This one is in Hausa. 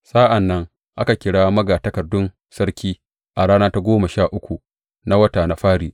Sa’an nan aka kira magatakardun sarki a rana ta goma sha uku na wata na fari.